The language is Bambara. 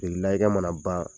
mana ban